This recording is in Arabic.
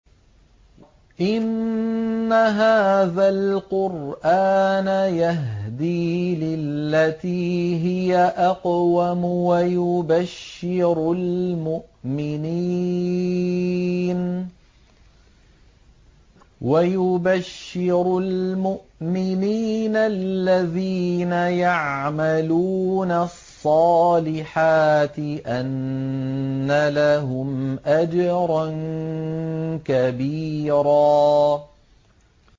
إِنَّ هَٰذَا الْقُرْآنَ يَهْدِي لِلَّتِي هِيَ أَقْوَمُ وَيُبَشِّرُ الْمُؤْمِنِينَ الَّذِينَ يَعْمَلُونَ الصَّالِحَاتِ أَنَّ لَهُمْ أَجْرًا كَبِيرًا